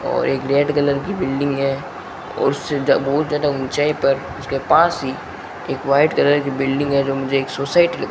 और एक red colour की बिल्डिंग है और उससे जा बहुत ज्यादा ऊंचाई पर उसके पास ही एक व्हाइट कलर की बिल्डिंग है जो मुझे एक सोसाइटी --